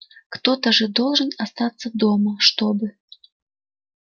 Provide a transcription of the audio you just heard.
кто-то же должен остаться дома чтобы